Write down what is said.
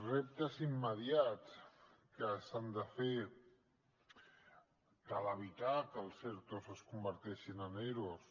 reptes immediats que s’han de fer cal evitar que els ertos es converteixin en eros